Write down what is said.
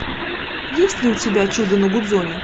есть ли у тебя чудо на гудзоне